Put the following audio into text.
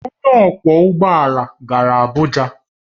Onye ọkwọ ụgbọ ala gara Abuja